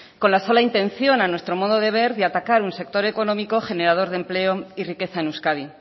con la sola intención a nuestro modo de ver de atacar a un sector económico generador de empleo y riqueza en euskadi